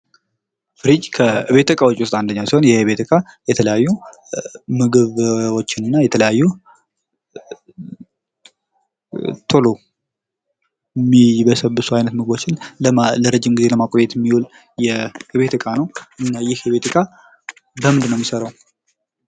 ፍሪጅ ከቤት እቃወች ውስጥ አንዱ ሲሆን ይህ የቤት እቃ የተለያዩ ምግቦችን እና የሎ የሚበሰብሱ አይነት ምግቦችን ለረጅም ጊዜ ለማቆየት የሚው ል የቤት ዕቃ ነው ። እና ይህ የቤት ዕቃ ከምንድን ነው የሚሰራው ።